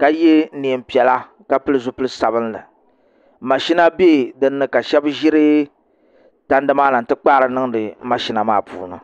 ka yɛ neen piɛla ka pili zipili sabinli mashina bɛ dinni ka shab ʒiri tandi maa na n ti kpaari niŋdi mashina maa ni